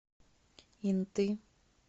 инты